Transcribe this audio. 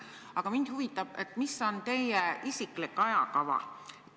Aga mind huvitab teie isiklik ajakava.